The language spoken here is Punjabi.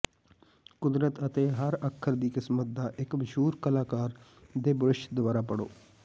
ਕੁਦਰਤ ਅਤੇ ਹਰ ਅੱਖਰ ਦੀ ਕਿਸਮਤ ਦਾ ਇੱਕ ਮਸ਼ਹੂਰ ਕਲਾਕਾਰ ਦੇ ਬੁਰਸ਼ ਦੁਆਰਾ ਪੜ੍ਹੋ